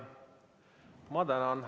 Ma tänan!